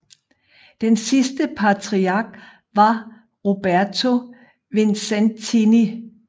Den sidste patriark var Roberto Vincentini